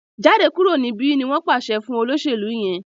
Jáde kúrò níbí! ní wón pàṣẹ fún olóṣèlú yén.